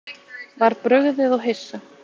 Var brugðið og hissa